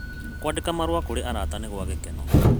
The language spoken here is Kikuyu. Kũandĩka marũa kũrĩ arata nĩ gwa gĩkeno.